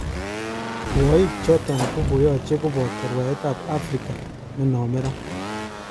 Rwoik choton kokoyoche koboto rwaet tab Afrika nenome ra.